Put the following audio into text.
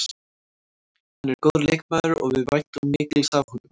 Hann er góður leikmaður og við væntum mikils af honum.